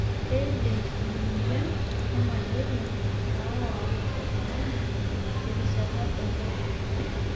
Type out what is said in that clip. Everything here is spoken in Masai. Keidim emoyian e maleria aawa oltungani terishata dorrop.